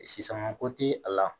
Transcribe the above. Sisanga ko ti a la